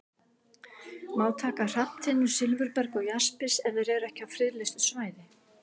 Má taka hrafntinnu, silfurberg og jaspis ef þeir eru ekki á friðlýstu svæði?